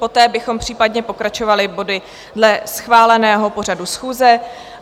Poté bychom případně pokračovali body dle schváleného pořadu schůze.